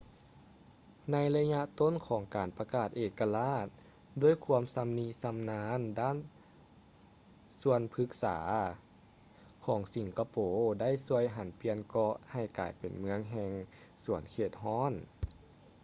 ໃນໄລຍະຕົ້ນຂອງການປະກາດເອກະລາດ ດ້ວຍຄວາມຊຳນິຊຳນານດ້ານສວນພຶກສາຂອງສິງກະໂປໄດ້ຊ່ວຍຫັນປ່ຽນເກາະໃຫ້ກາຍເປັນເມືອງແຫ່ງສວນເຂດຮ້ອນ